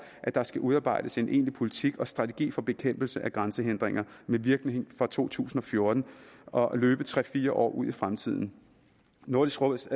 at der skal udarbejdes en egentlig politik og strategi for bekæmpelse af grænsehindringer virkning fra to tusind og fjorten og løbe tre fire år ud i fremtiden nordisk råds